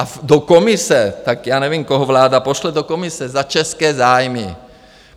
A do Komise - tak já nevím, koho vláda pošle do Komise za české zájmy.